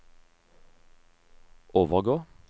overgå